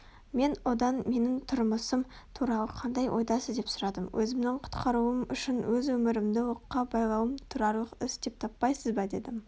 мен одан менің тұрмысым туралы қандай ойдасыз деп сұрадым өзімнің құтқарылуым үшін өз өмірімді оққа байлауым тұрарлық іс деп таппайсыз ба дедім